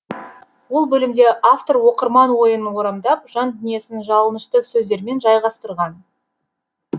ол бөлімде автор оқырман ойын орамдап жан дүниесін жалынышты сөздермен жайғастырған